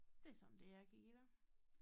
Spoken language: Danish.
Det sådan det jeg kan give dig